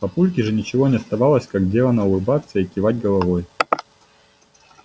папульке же ничего не оставалось как делано улыбаться и кивать головой